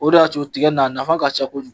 O de y'a to tigɛ in, a nafa ka cɛ ko kojugu.